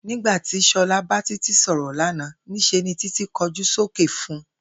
Nígbà ti S̩o̩la bá Títí sò̩rò̩ lánàá, ní s̩e ni Titi kójú sókè fun